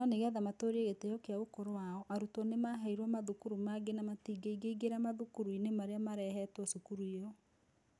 No nĩ getha matũũrie gĩtĩo na ũkũrũ wao, arutwo nĩ maaheirũo mathukuru mangĩ na matingĩingĩingĩra mathukuru-inĩ marĩa marehetwo cukuru ĩyo.